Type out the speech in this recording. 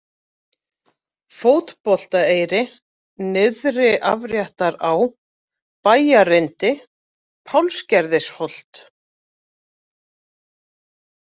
Fótboltaeyri, Nyrðri-Afréttará, Bæjarrindi, Pálsgerðisholt